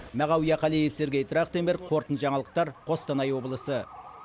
мағауия қалиев сергей трахтенберг қорытынды жаңалықтар қостанай облысы